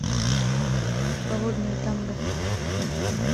холодное танго